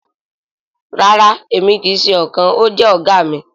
Rara emi kii ṣe ọkan… o jẹ oga mi.